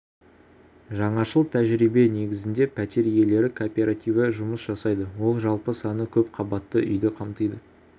жаңашыл тәжірибе негізінде пәтер иелері кооперативі жұмыс жасайды ол жалпы саны көп қабатты үйді қамтиды